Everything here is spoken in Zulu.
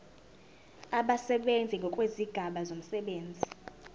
abasebenzi ngokwezigaba zomsebenzi